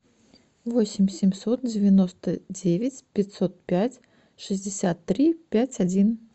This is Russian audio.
восемь семьсот девяносто девять пятьсот пять шестьдесят три пять один